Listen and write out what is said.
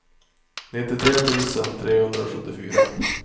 nittiotre tusen trehundrasjuttiofyra